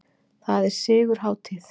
Það er sigurhátíð!